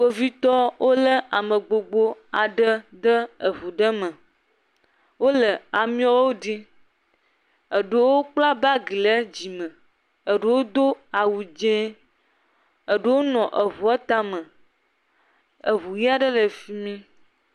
Kpovitɔ wole ame gbogbo aɖe ɖe eŋu ɖe me wole ameawo ɖim, eewo kpla bagi le dzime, eɖewo do awu dzɛ̃e, eɖewo nɔ eŋua tame, eŋu aɖe le efi mi.